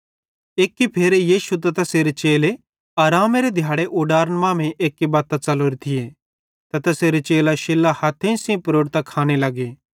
एक्की फेरे यीशु त तैसेरे चेले आरामेरे दिहाड़े ऊडारन मांमेइं एक्की बत्तां च़लोरे थिये ते तैसेरे चेले शिल्लां हथेइं सेइं प्रोड़तां खाने लग्गे